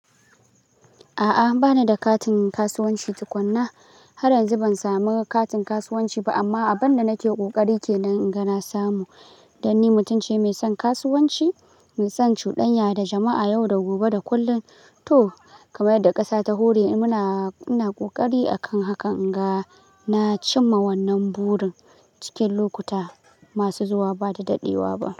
A'a bana da katin kasuwanci tukunna. Har yanzu ban samu katin kasuwanci ba amma abunda nake kokari ke nan inga na samu. Dan ni mutum ce mai son kasuwanci, mai son cudanya da jama'a yau da gobe da kullum. To kamar yadda ƙasa ta hore muna, muna kokari akan hakan inga na cimma wannan burin cikin lokuta masu zuwa ba da daɗewa ba.